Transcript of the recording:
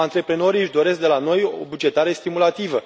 Antreprenorii își doresc de la noi o bugetare stimulativă.